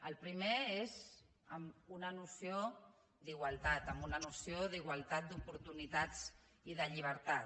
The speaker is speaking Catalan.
el primer és amb una noció d’igualtat amb una noció d’igualtat d’oportunitats i de llibertat